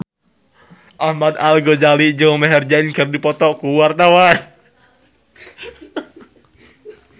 Ahmad Al-Ghazali jeung Maher Zein keur dipoto ku wartawan